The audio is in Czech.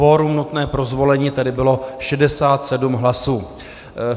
Kvorum nutné pro zvolení tedy bylo 67 hlasů.